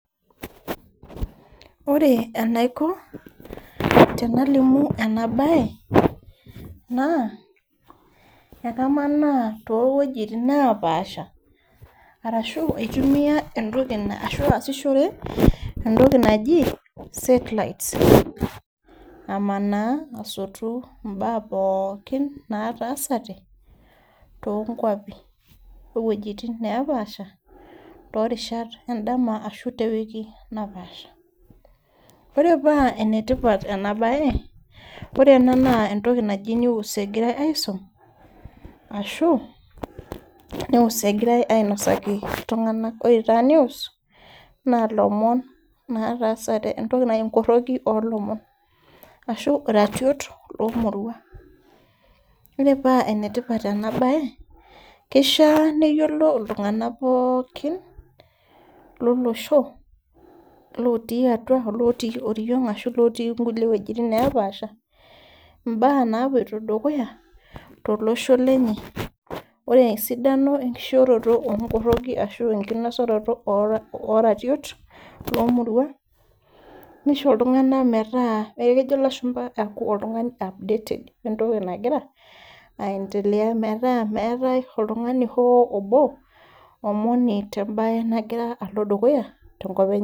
Ore enaiko tenalimu ena baye naa ekamanaa towojitin napaasha arashu aitumia entoki naa aasishore entooki naji satelites amanaa asotu imbaa pookin nataasate tonkuapi owuejitin nepaasha torishat endama ashu tewiki napaasha ore paa enetipat ena baye ore ena naa entoki naji news egirae aisum ashu news egirae ainosaki iltung'anak ore taa news naa ilomon nataasate entoki naji inkorroki olomon ashu iratiot lomurua ore paa enetipat ena baye kishia neyiolo iltung'anak pookin lolosho lotii atua olotii oriong ashu lotii inkulie wuejitin nepaasha imbaa napuoito dukuya tolosho lenye ore esidano enkishooroto onkorroki ashu enkinosaroto ora oratiot lomurua nisho iltung'anak metaa ekejo ilashumpa aaku oltung'ani wentoki nagira updated wentoki nagira aendelea metaa meetae oltung'ani hoo obo omoni tembaye nagira alo dukuya tenkop enye.